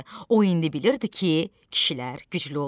O indi bilirdi ki, kişilər güclü olur.